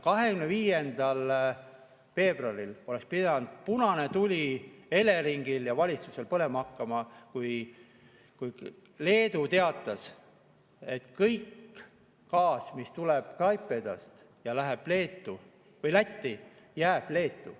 25. veebruaril oleks pidanud punane tuli Eleringil ja valitsusel põlema hakkama, sest Leedu teatas, et kogu gaas, mis tuleb Klaipedast ja läheb Lätti, jääb Leetu.